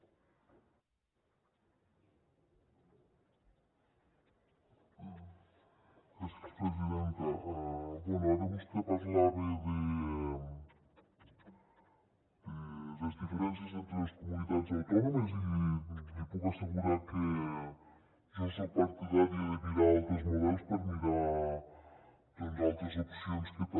bé ara vostè parlava de les diferències entre les comunitats autònomes i li puc assegurar que jo soc partidària de mirar altres models per mirar altres opcions que també